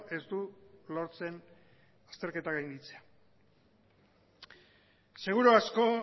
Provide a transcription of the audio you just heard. ez du lortzen azterketa gainditzea seguru asko